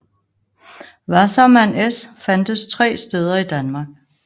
Wasserman S fandtes 3 steder i Danmark